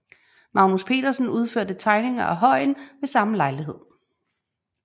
Magnus Petersen udførte tegninger af højen ved samme lejlighed